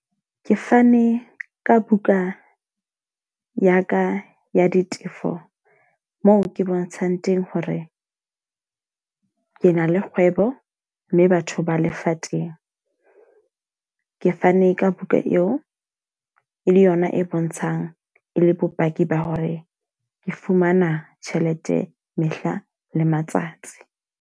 Ke fane ka buka ya ka ya ditefo moo ke bontshang teng hore ke na le kgwebo. Mme batho ba lefatsheng teng. Ke fane ka buka eo e le yona e bontshang e le bopaki ba hore ke fumana tjhelete mehla le matsatsi.